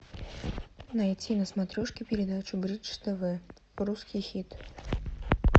найти на смотрешке передачу бридж тв русский хит